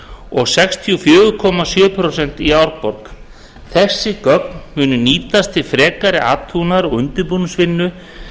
og sextíu og fjögur komma sjö prósent í árborg þessi gögn munu nýtast við frekari athuganir og undirbúningsvinnu